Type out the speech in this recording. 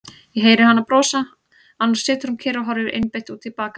Ég heyri hana brosa, annars situr hún kyrr og horfir einbeitt út í bakgarðinn.